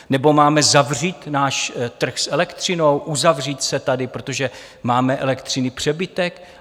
Nebo máme zavřít náš trh s elektřinou, uzavřít se tady, protože máme elektřiny přebytek?